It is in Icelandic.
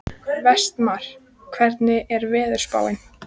Vestmar, hvernig er veðurspáin?